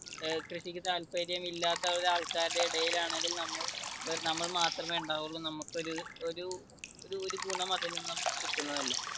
കൃഷിക്ക് താത്പര്യം ഇല്ലാത്ത ഒരാൾക്കാരുടെ ഇടയിൽ ആണെങ്കിൽ നമ്മൾ ~നമ്മൾ മാത്രമേ ഉണ്ടാവുള്ളു. നമുക്ക് ഒരു ഒരു ഗുണം അതിൽനിന്ന് നമുക്ക് കിട്ടുന്നതല്ല.